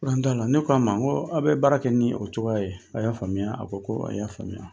probleme t'a la ne k'a ma ko aw bɛ baara kɛ ni o cogoya ye a y'a faamuya a ko ko a y'a faamuya